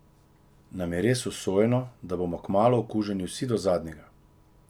Nam je res usojeno, da bomo kmalu okuženi vsi do zadnjega?